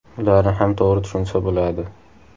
Ularni ham to‘g‘ri tushunsa bo‘ladi.